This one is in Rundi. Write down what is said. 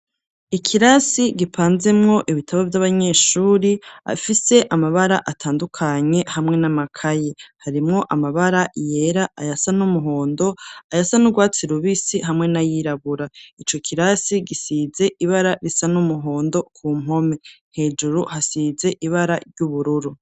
Ikirasi gipanzemwo ibitabo vy'abanyeshuri afise amabara atandukanye hamwe n'amakayi, harimwo amabara yera, ayasa n'umuhondo, ayasa n'urwatsi rubisi, hamwe na y'irabura, ico kirasi gisize ibara risa n'umuhondo, ku mpome hejuru hasize ibara ry'ubururu.